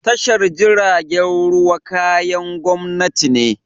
Tashar jiragen ruwa kayan gwamnati ne.